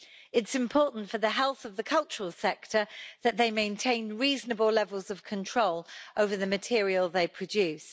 It is important for the health of the cultural sector that they maintain reasonable levels of control over the material they produce.